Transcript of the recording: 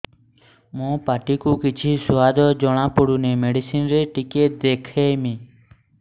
ମୋ ପାଟି କୁ କିଛି ସୁଆଦ ଜଣାପଡ଼ୁନି ମେଡିସିନ ରେ ଟିକେ ଦେଖେଇମି